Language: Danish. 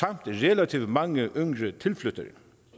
relativt mange yngre tilflyttere